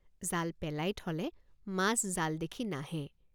জাল পেলাই থলে মাছ জাল দেখি নাহে।